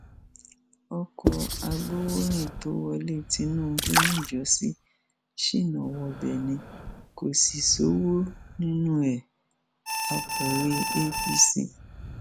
ọkọ agbowórin tó wọlé tinubu níjọsí ṣínà wọbẹ ni kò sì ṣọwọ nínú ẹ akọwé apc